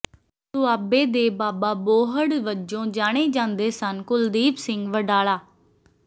ਦੋਆਬੇ ਦੇ ਬਾਬਾ ਬੋਹੜ ਵਜੋਂ ਜਾਣੇ ਜਾਂਦੇ ਸਨ ਕੁਲਦੀਪ ਸਿੰਘ ਵਡਾਲਾ